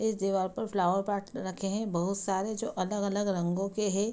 इस दिवार पे फ्लावर पॉट रखे है बहुत सारे जो अलग-अलग रंगों के है।